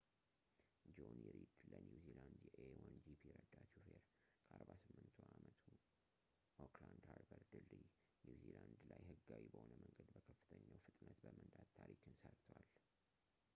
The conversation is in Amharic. ጆኒ ሪድ፣ ለኒው ዚላንድ የa1gp ረዳት ሹፌር፣ ከ 48 አመቱ ኦክላድ ሃርበር ድልድይ፣ ኒው ዚላንድ ላይ ህጋዊ በሆነ መንገድ በከፍተኛው ፍጥነት በመንዳት ታሪክን ሰርቷል